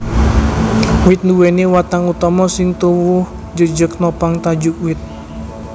Wit nduwèni watang utama sing tuwuh jejeg nopang tajuk wit